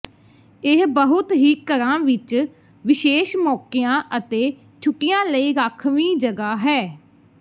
ਇਹ ਬਹੁਤ ਹੀ ਘਰਾਂ ਵਿਚ ਵਿਸ਼ੇਸ਼ ਮੌਕਿਆਂ ਅਤੇ ਛੁੱਟੀਆਂ ਲਈ ਰਾਖਵੀਂ ਜਗ੍ਹਾ ਹੈ